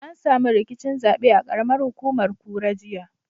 An samu rikicin zaɓe a ƙaramar hukumar kura, jiya.